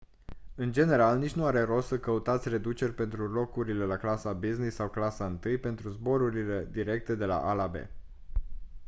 în general nici nu are rost să căutați reduceri pentru locurile la clasa business sau clasa i pentru zborurile directe de la a la b